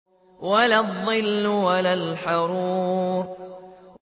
وَلَا الظِّلُّ وَلَا الْحَرُورُ